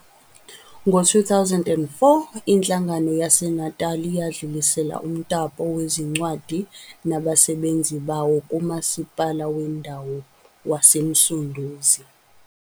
Ngo-2004, iNhlangano yaseNatal yadlulisela umtapo wezincwadi nabasebenzi bawo kUMasipala Wendawo waseMsunduzi.